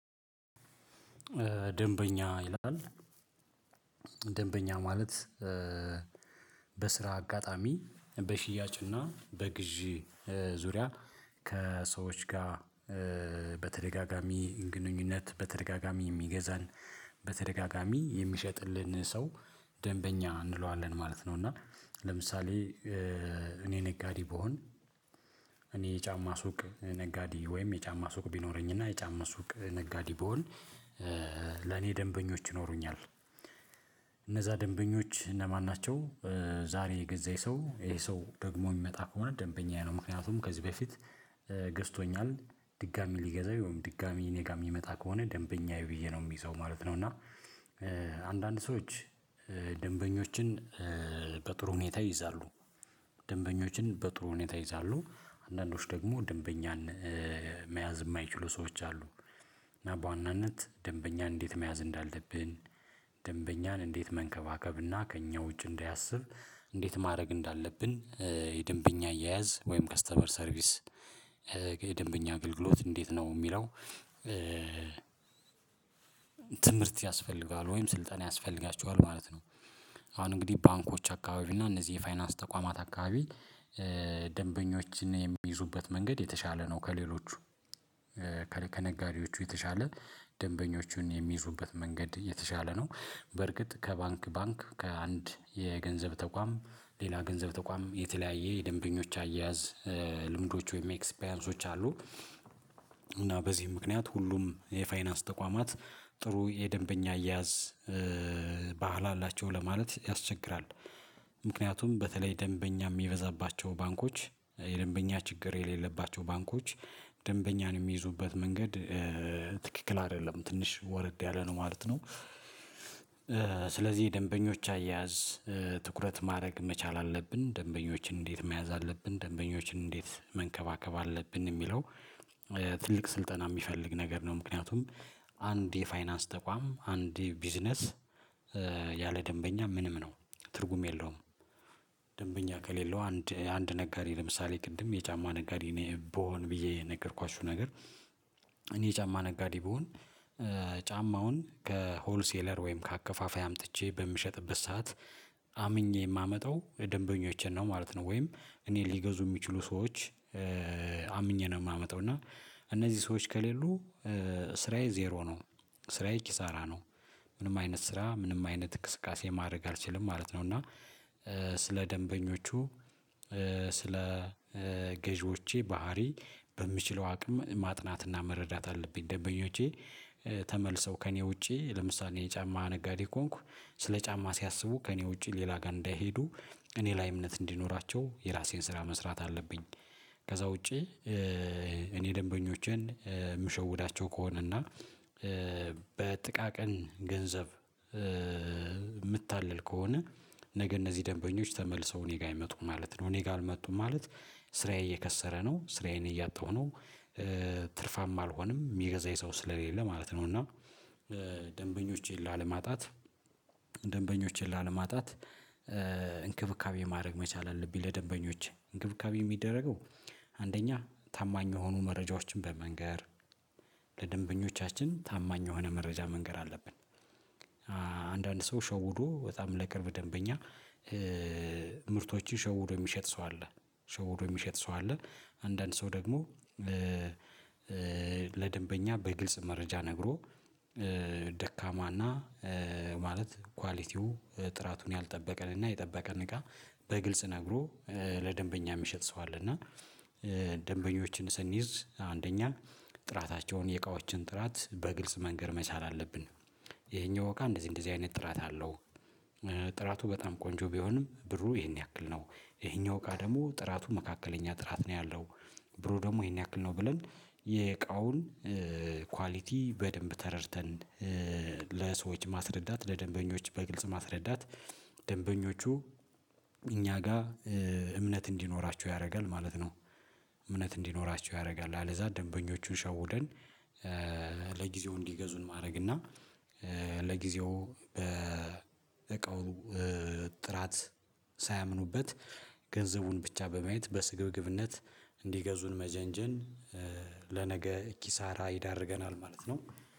ደንበኛ ይላል ደንበኛ ማለት በስራ አጋጣሚ በሽያጭና በግዢ ዙሪያ ከሰዎች ጋር በተደጋጋሚ ግንኙነት በተደጋጋሚ የሚገዛን በተደጋጋሚ የሚሸጥልን ሰው ደንበኛ እንለዋለን ማለት ነው። እና ለምሳሌ እኔ ነጋዴ ብሆን እኔ የጫማ ሱቅ ነጋዴ ወይም የጫማ ሱቅ ቢኖረኝና የጫማ ሱቅ ነጋዴ ብሆን ለኔ ደንበኞች ይኖሩኛል እነዛ ደንበኞች እነማን ናቸው? ዛሬ የገዛ የሰው ይሄ ሰው ደግሞ የሚመጣ ከሆነ ደንበኛ የሆነው ምክንያቱም ከዚህ በፊት ገዝቶኛል ድጋሚ ሊገዛው ወይም ድጋሚ እኔ ጋር የሚመጣ ከሆነ ደንበኛዬ ብዬ ነው የሚይዘው ማለት ነው። እና አንዳንድ ሰዎች ደንበኞችን በጥሩ ሁኔታ ይይዛሉ ደንበኞችን በጥሩ ሁኔታ ይይዛሉ አንዳንዶች ደግሞ ደንበኛን መያዝ የማይችሉ ሰዎች አሉ። እና በዋናነት ደንበኛን እንዴት መያዝ እንዳለብን ደንበኛን እንዴት መንከባከብና ከእኛ ውጭ እንዳያስብ እንዴት ማድረግ እንዳለብን የደንበኛ አያያዝ ወይም ከስተመር ሰርቪስ የደንበኛ አገልግሎት እንዴት ነው የሚለው? ትምህርት ያስፈልጋል ወይም ስልጠና ያስፈልጋቸዋል ማለት ነው። አሁን እንግዲህ ባንኮች አካባቢ እና እነዚህ የፋይናንስ ተቋማት አካባቢ ደንበኞችን የሚይዙበት መንገድ የተሻለ ነው ከሌሎቹ ከነጋዴዎቹ የተሻለ ደንበኞቹን የሚይዙበት መንገድ የተሻለ ነው። በርግጥ ከባንክ ባንክ ከአንድ የገንዘብ ተቋም ሌላ ገንዘብ ተቋም የተለያየ የደንበኞች አያያዝ ልምዶች ወይም ኤክስፒሪያንሶች አሉ። እና በዚህ ምክንያት ሁሉም የፋይናንስ ተቋማት ጥሩ የደንበኛ አያያዝ ባህል አላቸው ለማለት ያስቸግራል። ምክንያቱም በተለይ ደንበኛ የሚበዛባቸው ባንኮች የደንበኛ ችግር የሌለባቸው ባንኮች ደንበኛን የሚይዙበት መንገድ ትክክል አይደለም ትንሽ ወረድ ያለ ነው ማለት ነው። ስለዚህ ደንበኞች አያያዝ ትኩረት ማድረግ መቻል አለብን ደንበኞችን እንዴት መያዝ አለብን ደንበኞችን እንዴት መንከባከብ አለብን የሚለው ትልቅ ስልጠና የሚፈልግ ነገር ነው። ምክንያቱም አንድ የፋይናንስ ተቋም አንድ የቢዝነስ ያለ ደንበኛ ምንም ነው ትርጉም የለውም። ደንበኛ ከሌለው አንድ አንድ ነጋዴ ለምሳሌ ቅድም የጫማ ነጋዴ ነው ብሆን ብዬ የነገርኳችሁ ነገር እኔ የጫማ ነጋዴ ብሆን ጫማውን ከሆነ ሴለር ወይም ከአከፋፋይ አምጥቼ በምሸጥበት ሰዓት አምኜ የማመጣው ደንበኞቼን ነው ማለት ነው። ወይም እኔን ሊገዙኝ የሚችሉ ሰዎች አምኜ ነው የማመጣው እና እነዚህ ሰዎች ከሌሉ ስራዬ ዜሮ ነው ስራዬ ኪሳራ ነው ምንም አይነት ስራ ምንም አይነት እን ቅስቃሴ ማድረግ አልችልም ማለት ነው። እና ስለ ደንበኞቹ ስለ ገዢዎቼ ባህሪ በምችለው አቅም ማጥናትና መረዳት አለብኝ ደንበኞቼ ተመልሰው ከእኔ ውጪ ለምሳሌ የጫማ ነጋዴ ከሆንኩ ስለ ጫማ ሲያስቡ ከእኔ ውጪ ሌላ ጋር እንዳይሄዱ እኔ ላይ እምነት እንዲኖራቸው የራሴን ስራ መስራት አለብኝ። ከዛ ውጪ እኔ ደንበኞቼን የምሸውዳቸው ከሆነ እና በጥቃቅን ገንዘብ የምታልል ከሆነ ነገ እነዚህ ደንበኞች ተመልሰው እኔ ጋር አይመጡም ማለት ነው እኔ ጋር አልመጡም ማለት ስራዬ እየከሰረ ነው ስራዬን እያጣሁ ነው። ትርፋም አልሆንም የሚገዛ የሰው ስለሌለ ማለት ነው። እና ደንበኞቼን ላለማጣት ደንበኞቼን ላለማጣት እንክብካቤ ማድረግ መቻል አለብኝ ለደንበኞች እንክብካቤ የሚደረገው አንደኛ ታማኝ የሆኑ መረጃዎችን በመንገር ለደንበኞቻችን ታማኝ የሆነ መረጃ መንገር አለብን። አንዳንድ ሰው ሸውዶ በጣም ለቅርብ ደንበኛ ምርቶችን ሸውዶ የሚሸጥ ሰው አለ ሸውዶ የሚሸጥ ሰው አለ። አንዳንድ ሰው ደግሞ ለደንበኛ በግልጽ መረጃ ነግሮ ደካማና ማለት ኳሊቲው ጥራቱን ያልጠበቀንና የጠበቀን እቃ በግልጽ ነግሮ ለደንበኛ የሚሸጥ ሰው አለ እና። ደንበኞችን ስንይዝ አንደኛ ጥራታቸውን የቃዎችን ጥራት በግልጽ መንገር መቻል አለብን። ይሄኛው እቃ እንደዚህ እንደዚህ አይነት ጥራት አለው። ጥራቱ በጣም ቆንጆ ቢሆንም ብሩ ይሄን ያክል ነው ይሄኛው እቃ ደግሞ ጥራቱ መካከለኛ ጥራት ነው ያለው። ብሩ ደግሞ ይሄን ያክል ነው ብለን የእቃውን ኳሊቲ በደንብ ተረድተን ለሰዎች ማስረዳት ለደንበኞች በግልጽ ማስረዳት ደንበኞቹ እኛ ጋር እምነት እንዲኖራቸው ያደርጋል ማለት ነው። እምነት እንዲኖራቸው ያደርጋል አለዛ ደንበኞቹን ሸውደን ለጊዜው እንዲገዙን ማድረግ እና ለጊዜው በእቃው ጥራት ሳያምኑበት ገንዘቡን ብቻ በማየት በስግብግብነት እንዲገዙን መጀንጀን ለነገ ኪሳራ ይዳርገናል። ማለት ነው